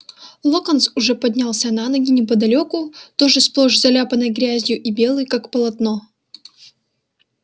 локонс уже поднялся на ноги неподалёку тоже сплошь заляпанный грязью и белый как полотно